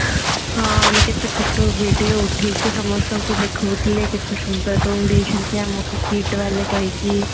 ହାଣ ମେ କେତେ photo video ଉଠେଇକି ସମସ୍ତଙ୍କୁ ଦେଖୋଉ ଥିଲେ କେତେ ସୁନ୍ଦର room ଦେଇଛନ୍ତି ଆମକୁ KIIT କହିକି